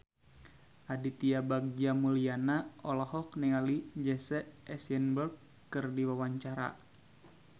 Aditya Bagja Mulyana olohok ningali Jesse Eisenberg keur diwawancara